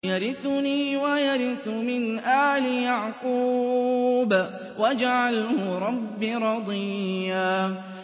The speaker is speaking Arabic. يَرِثُنِي وَيَرِثُ مِنْ آلِ يَعْقُوبَ ۖ وَاجْعَلْهُ رَبِّ رَضِيًّا